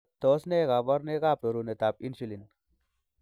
Tos nee koborunoikab rorunetab Insulin?